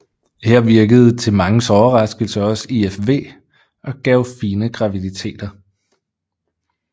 Her virkede til manges overraskelse også IVF og gav fine graviditeter